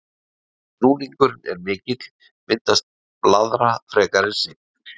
Ef núningurinn er mikill myndast blaðra frekar en sigg.